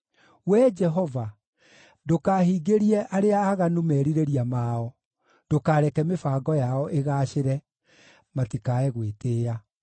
Wee Jehova, ndũkahingĩrie arĩa aaganu merirĩria mao, ndũkareke mĩbango yao ĩgaacĩre, matikae gwĩtĩĩa.